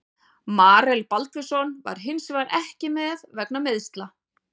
Marel Baldvinsson var hinsvegar ekki með vegna meiðsla.